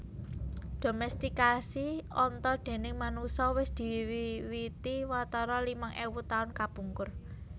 Domestikasi onta déning manungsa wis diwiwiti watara limang ewu taun kapungkur